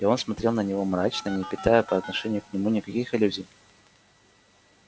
и он смотрел на него мрачно не питая по отношению к нему никаких иллюзий